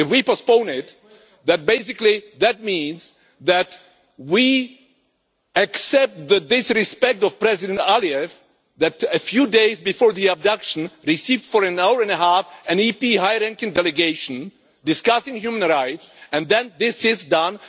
If we postpone it, that basically means that we accept the disrespect of President Aliyev in that a few days before the abduction he received for an hour and a half an EP high ranking delegation discussing human rights, and then this is done.